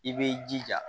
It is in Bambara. I b'i jija